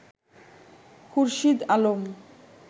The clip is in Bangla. খুরশীদ আলম